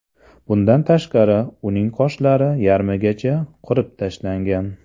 Bundan tashqari, uning qoshlari yarmigacha qirib tashlangan.